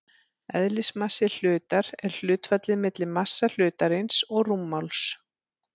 Eðlismassi hlutar er hlutfallið milli massa hlutarins og rúmmáls.